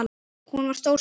Hún var stór sál.